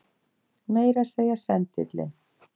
Meira að segja sendillinn.